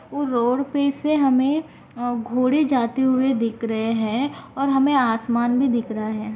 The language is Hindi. वो रोड पे से हमें घोड़े जाते हुए दिख रहे है और हमें आसमान भी दिख रहा है।